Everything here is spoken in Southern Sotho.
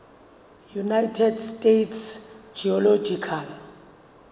united states geological